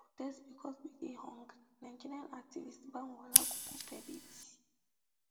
we dey protest because we dey hungry nigerian activist banwo olagokun tell bbc